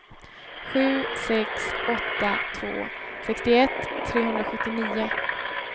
sju sex åtta två sextioett trehundrasjuttionio